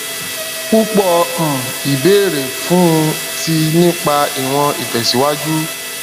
púpọ um ìbéèrè fún ti nípa ìwọn itẹsiwaju